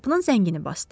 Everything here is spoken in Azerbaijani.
Qapının zəngini basdı.